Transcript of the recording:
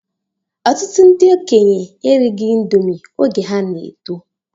Ọtụtụ ndị okenye erighi índomi oge ha na-eto